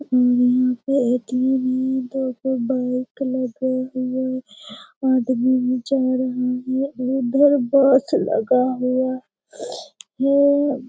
और यहाँ पे एक नही दो दो बाइक लगा हुआ आदमी भी जा रहा है उधर बास लगा हुआ है ।